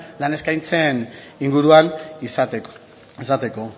lan eskaintzen inguruan izateko